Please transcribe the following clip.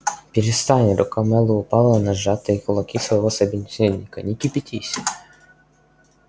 перестань рука мэллоу упала на сжатые кулаки своего собеседника не кипятись